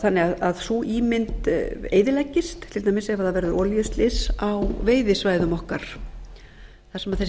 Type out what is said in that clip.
þannig að sú ímynd eyðileggist til dæmis ef það verður olíuslys á veiðisvæðum okkar þar sem þessi